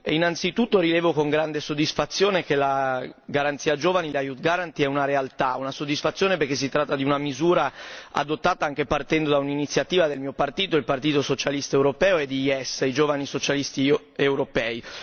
Innanzitutto, rilevo con grande soddisfazione che la garanzia giovani la Youth Guarantee è una realtà, una soddisfazione, perché si tratta di una misura adottata anche partendo da un'iniziativa del mio partito, il Partito socialista europeo, e di YES, i giovani socialisti europei.